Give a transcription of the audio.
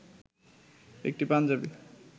একটি পাঞ্জাবি